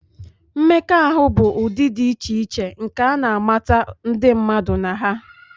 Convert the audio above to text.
Mmekọahụ bụ ụdị dị iche iche nke a na-amata ndị mmadụ na ha.